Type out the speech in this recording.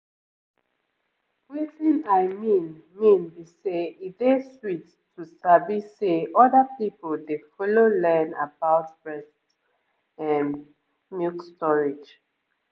wetin i mean mean be say e dey sweet to sabi say other people dey follow learn about breast ehm milk storage